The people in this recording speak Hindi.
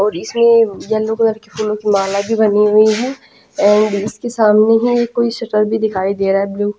इसमें येलो कलर की फूलों की माला भी बनी हुई है एंड इसके सामने ही कोई शटर भी दिखाई दे रहा है ब्लू --